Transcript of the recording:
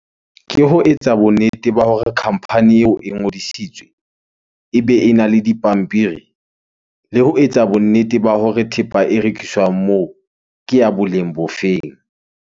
Ke ho etsa bonnete ba hore khampani eo e ngodisitswe, ebe ena le dipampiri le ho etsa bonnete ba hore thepa e rekiswang moo ke ya boleng bo feng?